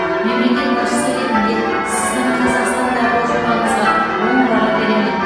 мемлекет басшысы ретінде сіздің қазақстандағы жобаңызға оң баға беремін